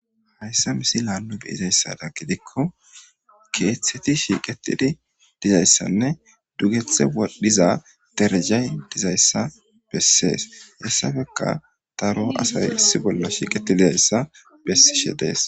hayssa misi laannu beyizayssada gidikko keeththeti shiiqetidi dizayssanne dugethe wadhiza derjay dizayssa bessees hessafeka daro asay issi bolla shiiqeti dizayssa bessishe dees